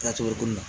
Laturu ko la